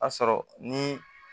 A sɔrɔ ni